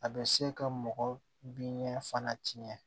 A bɛ se ka mɔgɔ bin fana tiɲɛ